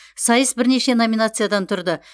сайыс бірнеше номинациядан тұрды